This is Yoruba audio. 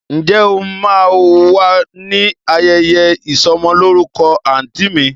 Ǹjẹ́ o máa wà ní ayẹyẹ ìsọ'mọlórúkọ àǹtí mi?